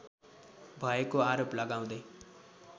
भएको आरोप लगाउँदै